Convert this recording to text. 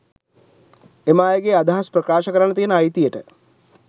එම අයගේ අදහස් ප්‍රකාශ කරන්න තියන අයතියට